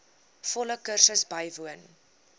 volle kursus bywoon